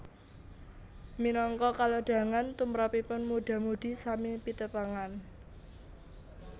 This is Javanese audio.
Minangka kalodhangan tumrapipun mudha mudhi sami pitepangan